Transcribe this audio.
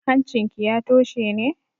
Hancinki ya toshe ne?